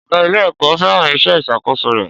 Ọ̀gá ilé-ẹ̀kọ́ fẹ́ràn iṣẹ́ ìṣàkóso rẹ̀.